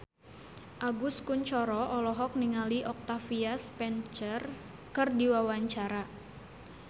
Agus Kuncoro olohok ningali Octavia Spencer keur diwawancara